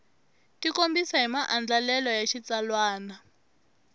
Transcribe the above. tikombisa hi maandlalelo ya xitsalwana